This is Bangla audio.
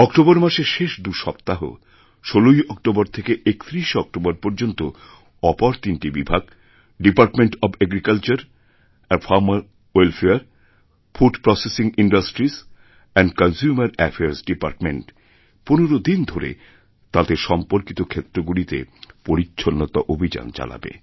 অক্টোবর মাসের শেষ দুসপ্তাহ ষোলোই অক্টোবর থেকে একত্রিশে অক্টোবর পর্যন্তঅপর তিনটি বিভাগ department of agriculture and farmer welfare food processing industries এবং কনসামের অ্যাফেয়ার্সডিপার্টমেন্ট পনেরো দিন ধরে তাদের সম্পর্কিতক্ষেত্রগুলিতে পরিচ্ছন্নতা অভিযান চালাবে